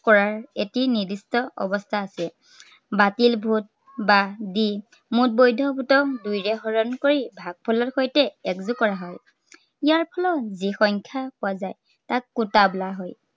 কৰাৰ এটি নিৰ্দিষ্ট অৱস্থা আছে। বাতিল vote বাদ দি মুঠ বৈধ vote ক দুইৰে হৰণ কৰি ভাগফলৰ সৈতে এক যোগ কৰা হয়। ইয়াৰ ফলত যি সংখ্য়া পোৱা যায় তাক kota বোলা হয়।